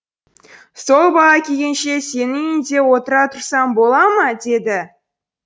сол бала келгенше сенің үйінде отыра тұрсам бола ма деді